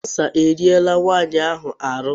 Kansa eriela nwaanyị ahụ ahụ.